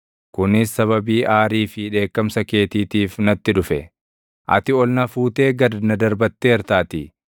kunis sababii aarii fi dheekkamsa keetiitiif natti dhufe; ati ol na fuutee gad na darbatteertaatii.